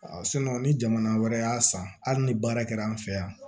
ni jamana wɛrɛ y'a san hali ni baara kɛra an fɛ yan